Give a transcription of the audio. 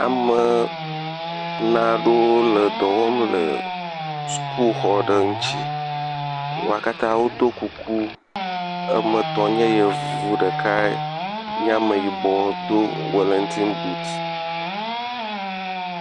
Ameee… naɖewo edɔwɔm le sukuxɔ aɖe ŋuti wo katã wodo kuku woame etɔ̃ nye yevu ame ɖeka nye ameyibɔ do wilintin boot.